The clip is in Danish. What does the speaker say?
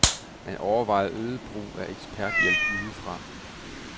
Man overvejer øget brug af eksperthjælp udefra.